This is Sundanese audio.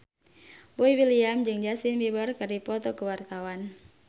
Boy William jeung Justin Beiber keur dipoto ku wartawan